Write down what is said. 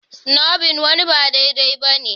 Snubbing wani ba daidai ba ne.